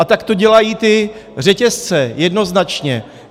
A tak to dělají ty řetězce jednoznačně.